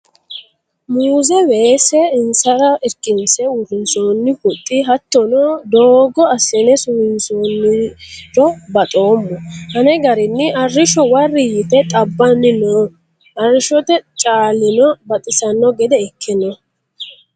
Muze weese insara irkinse uurrinsonni huxxi hattono doogo assine suwinsonniro baxoommo ane garinni arrishsho wari yte xabbanni no arrishshote caalino baxisano gede ikke no